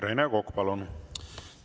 Rene Kokk, palun!